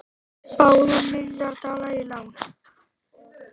Báðu um milljarð dala í lán